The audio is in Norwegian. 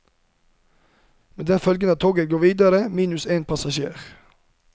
Med den følge at toget går videre minus en passasjer.